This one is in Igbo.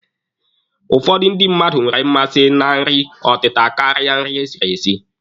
Ụfọdụ ndị mmadụ nwere mmasị na nri ọtịta karịa nri esiri esi.